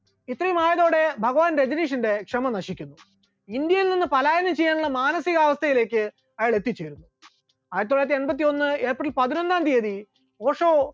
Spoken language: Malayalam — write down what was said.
ഇത്രയും ആയതോടെ ഭഗവാൻ രജനീഷിന്റെ ക്ഷമ നശിക്കുന്നു, ഇന്ത്യയിൽ നിന്ന് പാലായനം ചെയ്യാനുള്ള മാനസികാവസ്ഥയിലേക്ക് അയാൾ എത്തിച്ചേരുന്നു, ആയിരത്തിത്തൊള്ളായിരത്തി എൺപത്തി ഒന്ന് april പതിനൊന്നാം തിയ്യതി ഓഷോ